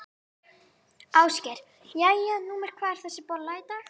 Ásgeir: Jæja, númer hvað er þessi bolla í dag?